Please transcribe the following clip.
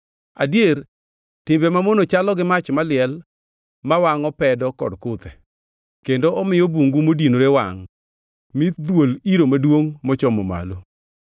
Adier timbe mamono chalo gi mach maliel; ma wangʼo pedo kod kuthe, kendo omiyo bungu modinore wangʼ mi dhuol iro maduongʼ mochomo malo.